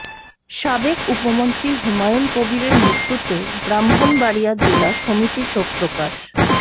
সাবেক উপমন্ত্রী হুমায়ুন কবিরের মৃত্যুতে ব্রাক্ষ্মণবাড়িয়া জেলা সমিতি শোক প্রকাশ